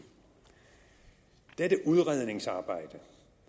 dette udredningsarbejde